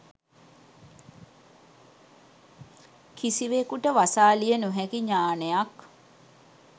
කිසිවෙකුට වසාලිය නොහැකි ඤාණයක්